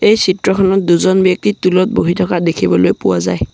এই চিত্ৰখনত দুজন ব্যক্তি টূল্ ত বহি থকা দেখিবলৈ পোৱা যায়।